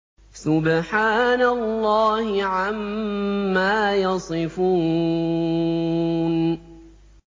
سُبْحَانَ اللَّهِ عَمَّا يَصِفُونَ